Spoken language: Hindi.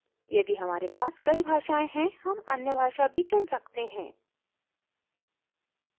यदि हमारे पास कई भाषाएँ हैं हम अन्य भाषा भी चुन सकते हैं